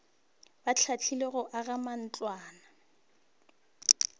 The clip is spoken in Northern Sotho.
ba hlahlilwego go aga matlwana